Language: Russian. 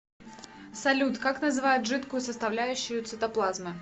салют как называют жидкую составляющую цитоплазмы